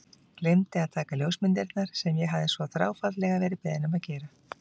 Gleymdi að taka ljósmyndirnar sem ég hafði svo þráfaldlega verið beðinn um að gera.